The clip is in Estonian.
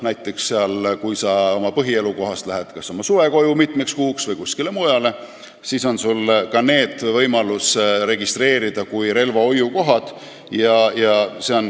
Näiteks, kui sa lähed oma põhielukohast mitmeks kuuks kas suvekoju või kuskile mujale, siis on sul võimalus ka need registreerida kui relvahoiukohad.